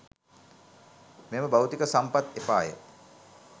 මෙම භෞතික සම්පත් එපාය,